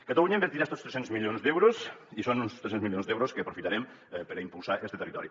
catalunya hi invertirà estos tres cents milions d’euros i són uns tres cents milions d’euros que aprofitarem per a impulsar este territori